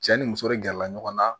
Cɛ ni muso de gɛrɛla ɲɔgɔn na